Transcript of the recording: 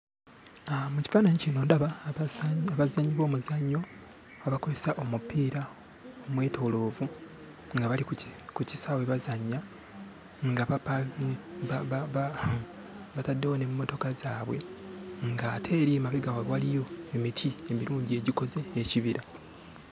Mu kifaananyi kino ndaba abazannyi. Abazannyi b'omuzannyo abakozesa omupiira omwetooloovu nga bali ku kisaawe bazannya nga bapa bataddewo n'emmotoka zaabwe ng'ate eri emabega waabwe waliyo emiti emirungi egikoze ekibira.